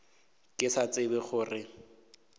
ke sa tsebe ka gore